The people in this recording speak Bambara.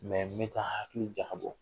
N bɛ k'an hakili jakabɔ